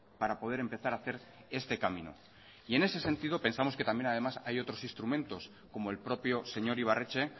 para poder empezar a hacer este camino y en ese sentido pensamos que también además hay otros instrumentos como el propio señor ibarretxe